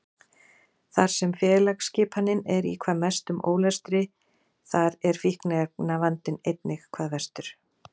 Þar sem félagsskipanin er í hvað mestum ólestri þar er fíkniefnavandinn einnig hvað verstur.